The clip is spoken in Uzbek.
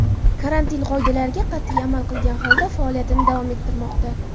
Karantin qoidalariga qat’iy amal qilgan holda faoliyatini davom ettirmoqda.